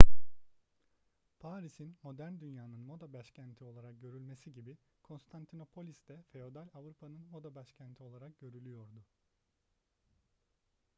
paris'in modern dünyanın moda başkenti olarak görülmesi gibi konstantinopolis de feodal avrupa'nın moda başkenti olarak görülüyordu